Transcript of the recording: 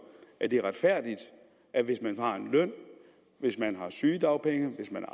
er det retfærdigt at hvis man har en løn hvis man har sygedagpenge hvis man